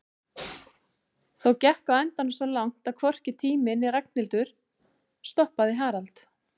Þó gekk á endanum svo langt að hvorki tími né Ragnhildur stoppaði Harald.